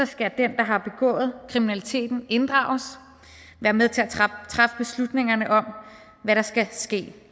skal den der har begået kriminaliteten inddrages og være med til at træffe beslutningerne om hvad der skal ske